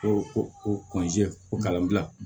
O o o kalanbila